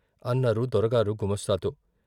అన్నారు దొరగారు గుమాస్తాతో.